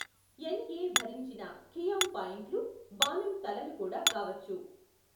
ఎన్ ఎ భరించిన ఖియామ్ పాయింట్లు, బాణం తలలు కూడా కావచ్చు.